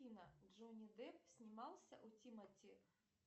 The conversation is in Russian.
афина джонни депп снимался у тимати